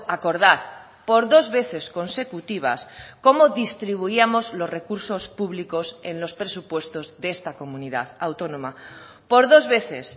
acordar por dos veces consecutivas cómo distribuíamos los recursos públicos en los presupuestos de esta comunidad autónoma por dos veces